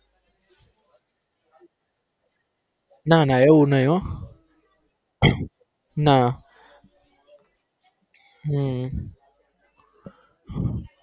ના ના એવુ નઈ હો ના હમ